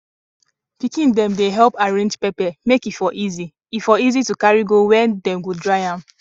pikin dem dey help arrange pepper make e for easy e for easy to carry go where dem go dry am